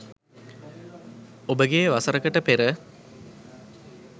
ඔබගේ වසරකට පෙර